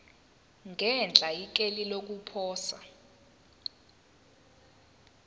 ngenhla ikheli lokuposa